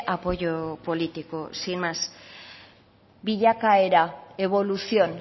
apoyo político sin más bilakaera evolución